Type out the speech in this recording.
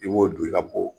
I b'o don i ka bo